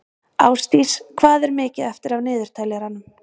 Ásdís, hvað er mikið eftir af niðurteljaranum?